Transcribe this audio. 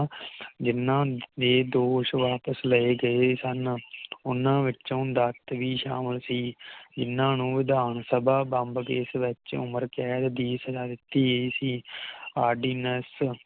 ਜਿਨ੍ਹਾਂ ਦੇ ਦੋਸ਼ ਵਾਪਸ ਲਏ ਗਏ ਸਨ ਓਹਨਾ ਵਿੱਚੋ ਦੱਤ ਵੀ ਸ਼ਾਮਿਲ ਸੀ ਇਹਨਾਂ ਨੂੰ ਵਿਧਾਨਸਭਾ ਬੰਬ ਕੇਸ ਵਿੱਚੋ ਉਮਰ ਕੈਦ ਦੀ ਸਜ਼ਾ ਦਿਤੀ ਗਈ ਸੀ ਆਰ ਡੀ ਨੇਸ